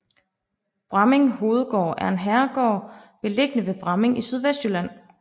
Bramming Hovedgård er en herregård beliggende ved Bramming i Sydvestjylland